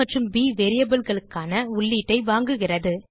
ஆ மற்றும் ப் variableகளுக்கான உள்ளீட்டை வாங்குகிறது